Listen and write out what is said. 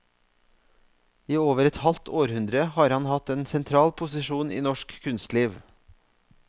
I over et halvt århundre har han hatt en sentral posisjon i norsk kunstliv.